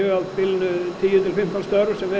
á bilinu tíu til fimmtán störf sem